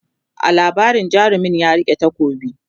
a labarin jarumin ya rike takobi